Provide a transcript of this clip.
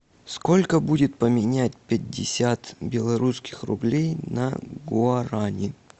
сколько будет поменять пятьдесят белорусских рублей на гуарани